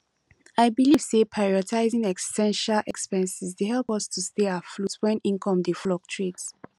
i believe say prioritizing essential expenses dey help us to stay afloat when income dey fluctuate